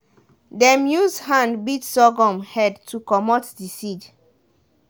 dem use hand beat sorghum head to comot the seed.